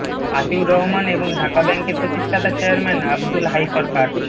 আতিউর রহমান এবং ঢাকা ব্যাংকের প্রতিষ্ঠাতা চেয়ারম্যান আবদুল হাই সরকার